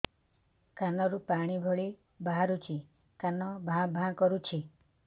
କାନ ରୁ ପାଣି ଭଳି ବାହାରୁଛି କାନ ଭାଁ ଭାଁ କରୁଛି